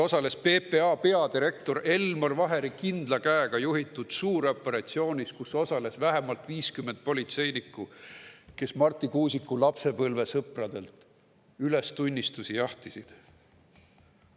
Selles PPA peadirektori Elmar Vaheri kindla käega juhitud suuroperatsioonis osales vähemalt 50 politseinikku, kes Marti Kuusiku lapsepõlvesõpradelt ülestunnistusi jahtisid.